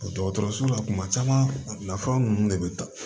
Dɔgɔtɔrɔso la tuma caman nafa ninnu de bɛ ta